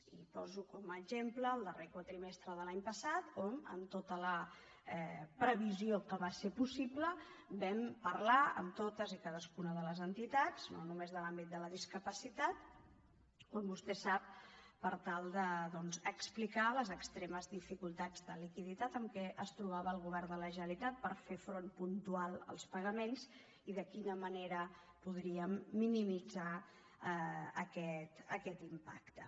i poso com a exemple el darrer quadrimestre de l’any passat on amb tota la previsió que va ser possible vam parlar amb totes i cadascuna de les entitats no només de l’àmbit de la discapacitat com vostè sap per tal doncs d’explicar les extremes dificultats de liquiditat amb què es trobava el govern de la generalitat per fer front puntual als pagaments i de quina manera podríem minimitzar aquest impacte